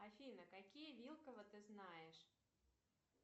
афина какие вилкова ты знаешь